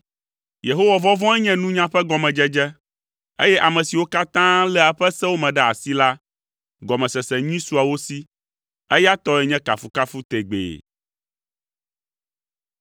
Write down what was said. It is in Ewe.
Yehowa vɔvɔ̃e nye nunya ƒe gɔmedzedze, eye ame siwo katã léa eƒe sewo me ɖe asi la, gɔmesese nyui sua wo si. Eya tɔe nye kafukafu tegbee.